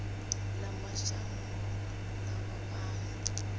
ya mashango ḓavha a yo